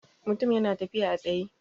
Mutum ya na tafiya a tsaye